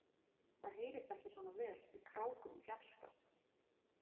Það heyrist ekki svona vel í krákum í fjarska.